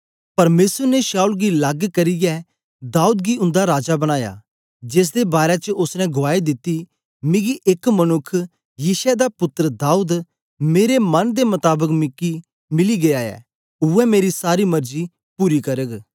परमेसर ने शाऊल गी लग करियै दाऊद गी उन्दा राजा बनाया जेसदे बारै च ओसने गुआई दिती मिकी एक मनुक्ख यिशै दा पुत्तर दाऊद मेरे मन दे मताबक मिली गीया ऐ उवै मेरी सारी मरजी पूरी करग